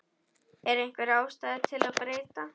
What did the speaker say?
Er einhver ástæða til að breyta?